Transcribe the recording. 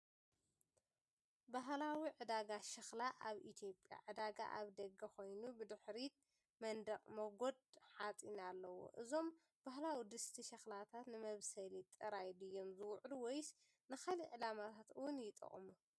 ባህላዊ ዕዳጋ ሸኽላ ኣብ ኢትዮጵያ፣ ዕዳጋ ኣብ ደገ ኮይኑ፡ ብድሕሪት መንደቕ ሞገድ ሓጺን ኣለዎ። እዞም ባህላዊ ድስቲ ሸኽላታት ንመብሰሊ ጥራይ ድዮም ዝውዕሉ ወይስ ንኻልእ ዕላማታት እውን ይጥቀሙ?